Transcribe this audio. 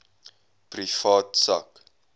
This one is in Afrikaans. privaat sak